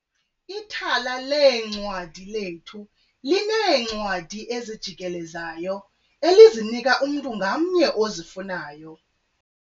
Ithala leencwadi lethu lineencwadi ezijikelezayo elizinika umntu ngamnye ozifunayo.